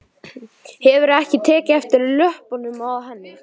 Hefurðu ekki tekið eftir löppunum á henni?